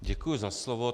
Děkuji za slovo.